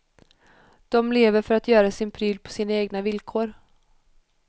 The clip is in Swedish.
De lever för att göra sin pryl på sina egna villkor.